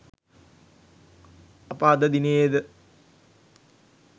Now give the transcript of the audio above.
අප අද දිනයේද